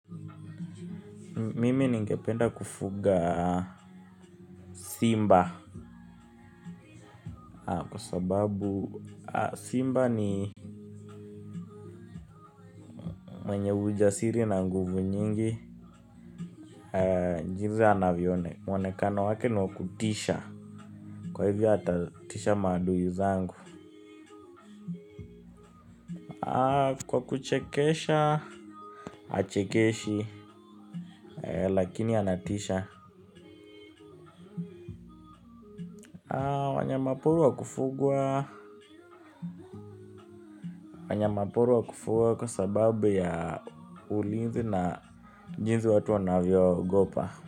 Mimini ningependa kufuga simba kwa sababu simba ni wenye ujasiri na nguvu nyingi. Jinzi anavyo onekqna, wonekano wake ni wakutisha, kwa hivyo hata tisha madui zangu. Kwa kuchekesha, achekeshi, lakini anatisha wanyama pori wa kufuga kwa sababu ya ulinzi na jinzi watu wanavyoogopa.